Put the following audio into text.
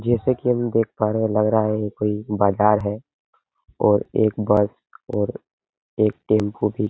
जैसे की हम देख पा रहे हैं लग रहा है कोई बाजार है और एक बस और एक टेम्पू भी --